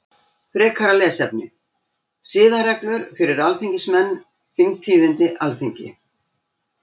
Frekara lesefni: Siðareglur fyrir alþingismenn Þingtíðindi Alþingi.